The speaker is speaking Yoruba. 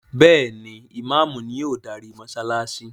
Béèni Imàámu ni o darí mósálásí.